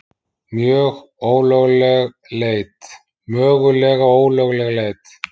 Mögulega ólögleg leit